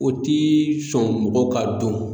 O tii sɔn mɔgɔw ka dɔn